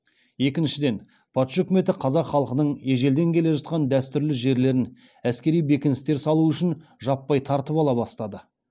екіншіден патша үкіметі қазақ халқының ежелден келе жатқан дәстүрлі жерлерін әскери бекіністер салу үшін жаппай тартып ала бастады